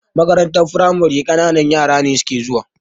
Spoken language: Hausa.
Makarantar firamare ƙananan yara ne suke zuwa.